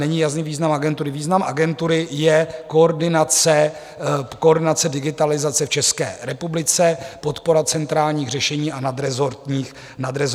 není jasný význam agentury: význam agentury je koordinace digitalizace v České republice, podpora centrálních řešení a nadrezortních systémů.